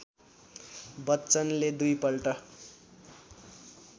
बच्चनले दुईपल्ट